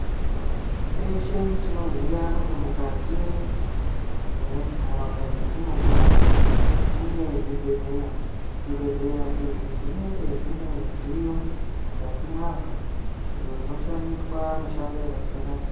Teshe tinoziya kuti mukati mendaraunda dzatinogara mune zvibhedhlera. Zvibhedhlera izvi zvinenge zvine midziyo mukati mwazvo iyo inoshandiswa mishando yakasiyana siyana.